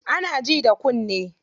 Ana ji da kunne.